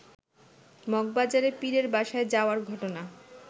মগবাজারের পীরের বাসায় যাওয়ার ঘটনা